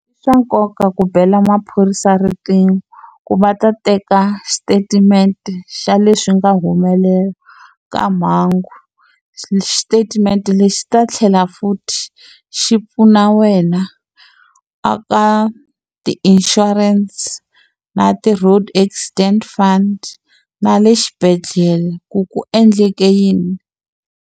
I swa nkoka ku bela maphorisa riqingho, ku va ta teka xitatimende xa leswi nga humelela ka mhangu. Xitatimende lexi ta tlhela futhi xi pfuna wena a ka ti-insurance na ti-road accident fund na le xibedhlele ku ku endleke yini.